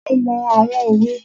Mo mọ àwọn òwe.